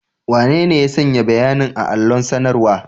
Wanene ya sanya bayanin a allon sanarwa?